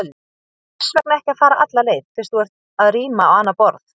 Hvers vegna ekki að fara alla leið, fyrst þú ert að ríma á annað borð?